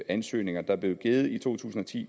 ansøgninger der blev i to tusind og ti